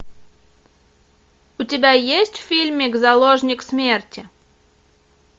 у тебя есть фильмик заложник смерти